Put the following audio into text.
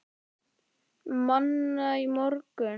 Manna í morgun.